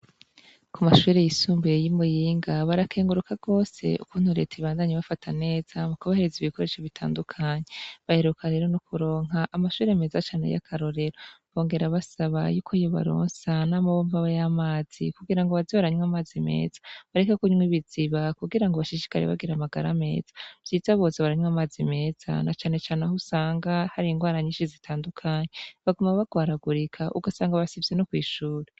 Ku mashuri yisumbuye y'i Muyinga barakenguruka gose ukuntu Leta ibandanye ibafata neza, mu kubahereza ibikoresho bitandukanye, baheruka rero no kuronka amashure meza cane y'akarorero, bongera basaba y'uko yobaronsa n'amabomba y'amazi kugira ngo baze baranywa amazi meza bareke kunywa ibiziba kugira ngo bashishikare bagira amagara ameza, vyiza boza baranywa amazi meza na cane cane aho usanga hari ingwara nyinshi zitandukanye, baguma bagwaragurika ugasanga basivye no kw'ishuri.